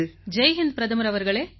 ஜெய் ஹிந்த் பிரதமர் அவர்களே